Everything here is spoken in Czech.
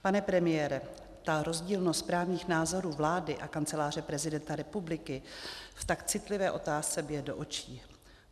Pane premiére, ta rozdílnost právních názorů vlády a Kanceláře prezidenta republiky v tak citlivé otázce bije do očí.